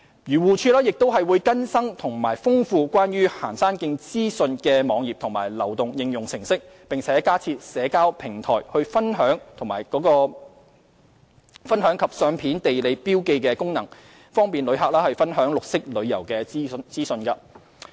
漁護署亦會更新和豐富關於行山徑資訊的網頁及流動應用程式，並加設社交平台分享及相片地理標記功能，方便旅客分享綠色旅遊資訊。